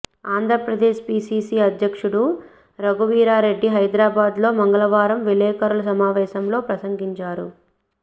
Andhra Pradesh PCC అధ్యక్షుడు రఘువీరారెడ్డి హైదరాబాద్ లో మంగళవారం విలేకరుల సమావేశంలో ప్రసంగించారు